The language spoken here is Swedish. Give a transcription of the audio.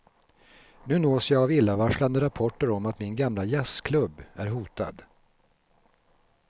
Nu nås jag av illavarslande rapporter om att min gamla jazzklubb är hotad.